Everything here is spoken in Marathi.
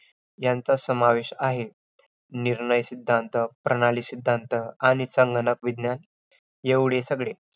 आयु शब्दाची व्याख्या शरीर इंद्रिय स्त्व आत्म् सय्यगो भारी विवित्म इच्च अनुबंदच्च पर्यायी आयु उच्छते